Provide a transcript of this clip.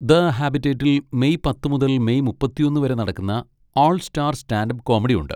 The ഹാബിറ്റേറ്റിൽ മെയ് പത്ത് മുതൽ മെയ് മുപ്പത്തിയൊന്ന് വരെ നടക്കുന്ന 'all star stand up comedy' ഉണ്ട്.